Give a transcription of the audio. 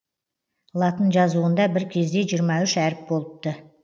латын жазуында бір кезде жиырма үш әріп болыпты